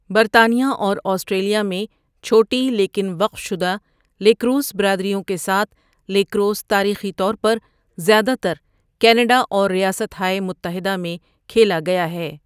برطانیہ اور آسٹریلیا میں چھوٹی لیکن وقف شدہ لیکروس برادریوں کے ساتھ، لیکروس تاریخی طور پر زیادہ تر کینیڈا اور ریاستہائے متحدہ میں کھیلا گیا ہے۔